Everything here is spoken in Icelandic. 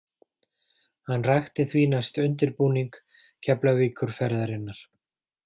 Hann rakti því næst undirbúning Keflavíkurferðarinnar.